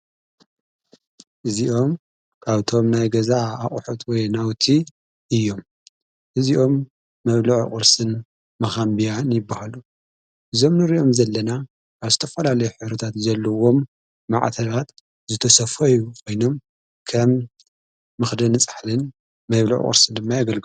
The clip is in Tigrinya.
እዚኦም ኣብቶም ናይ ገዛ ኣቝሑት ወይ ናውቲ እዮም እዚኦም መብ ልዕ ቝርስን መኻንቢያን ይበሃሉ ዘምኑር እዮም ዘለና ኣስተፈላለይ ሕሩታት ዘለዎም ማዕተናት ዝተሰፈዩ ወይኖም ከም ምኽደ ንጻሕልን መብልዕ ቝርስን ድማይ ኣገልሉ።